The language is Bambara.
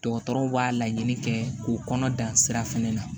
Dɔgɔtɔrɔw b'a laɲini kɛ k'o kɔnɔ dan sira fɛnɛ na